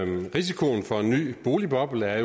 risikoen for en ny boligboble er